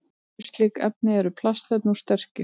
Önnur slík efni eru plastefni úr sterkju.